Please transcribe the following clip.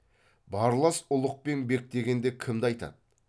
барлас ұлық пен бек дегенде кімді айтады